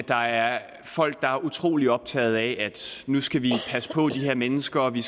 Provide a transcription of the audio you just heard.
der er folk der er utrolig optaget af at nu skal vi passe på de her mennesker og at vi